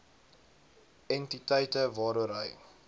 entiteite waaroor hy